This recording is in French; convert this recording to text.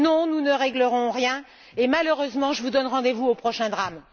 Non, nous ne réglerons rien et, malheureusement, je vous donne rendez vous au prochain drame.